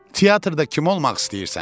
Teatrda kim olmaq istəyirsən?